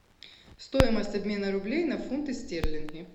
стоимость обмена рублей на фунты стерлинги